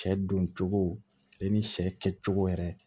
Sɛ don cogo ale ni sɛ kɛ cogo yɛrɛ